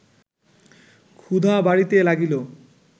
ক্ষুধা বাড়িতে লাগিল